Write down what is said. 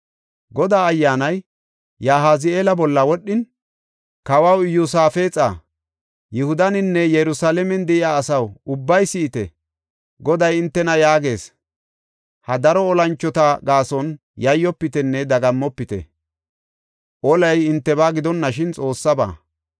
Godaa Ayyaanay Yahazi7eela bolla wodhin, “Kawaw Iyosaafexa, Yihudaninne Yerusalaamen de7iya asaw, ubbay si7ite! Goday hintena yaagees. ‘Ha daro olanchota gaason yayyofitenne dagammopite. Olay hintebaa gidonashin Xoossaba.